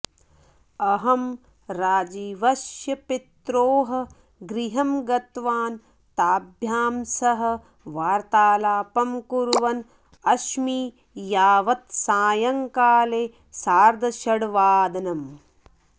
अहं राजीवस्य पित्रोः गृहं गतवान् ताभ्यां सह वार्तालापं कुर्वन् अस्मि यावत् सायंकाले सार्धषठ्वादनम्